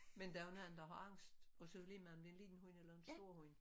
Men der jo mange der har angst og så er det ligemeget om det er en lille hund eller en stor hund